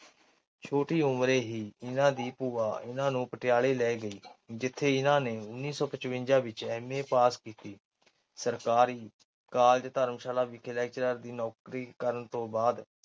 ਛੋਟੀ ਉਮਰੇ ਹੀ ਇਹਨਾਂ ਦੀ ਭੂਆਂ ਇਹਨਾਂ ਨੂੰ ਪਟਿਆਲੇ ਲੈ ਗਈ ਜਿੱਥੇ ਇਹਨਾਂ ਨੇ ਉੱਨੀ ਸੌ ਪਚਵੰਜਾਂ ਵਿੱਚ M. A. ਪਾਸ ਕੀਤੀ। ਸਰਕਾਰੀ college ਧਰਮਸ਼ਾਲਾ ਵਿੱਖੇ lecturer ਦੀ ਨੌਕਰੀ ਕਰਨ ਤੋਂ ਬਾਅਦ